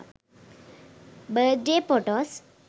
birthday photos